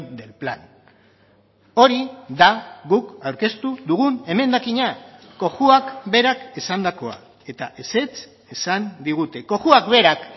del plan hori da guk aurkeztu dugun emendakina cojuak berak esandakoa eta ezetz esan digute cojuak berak